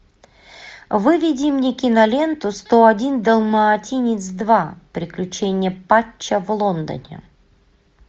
выведи мне киноленту сто один далматинец два приключения патча в лондоне